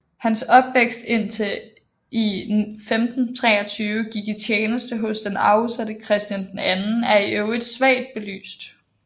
Hans opvækst indtil han i 1523 gik i tjeneste hos den afsatte Christian II er i øvrigt svagt belyst